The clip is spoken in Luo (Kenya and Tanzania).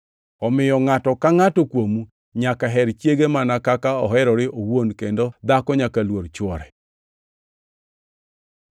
Omiyo ngʼato ka ngʼato kuomu nyaka her chiege mana kaka oherore owuon kendo dhako nyaka luor chwore.